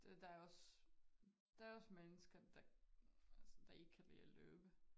Der også der også mennesker der ikke kan lide at løbe